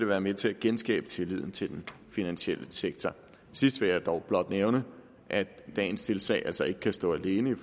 være med til at genskabe tilliden til den finansielle sektor sidst vil jeg dog blot nævne at i dagens tiltag altså ikke stå alene